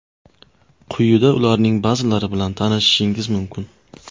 Quyida ularning ba’zilari bilan tanishishingiz mumkin.